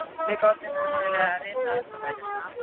Við gátum ómögulega vitað að þetta væri svona alvarlegt.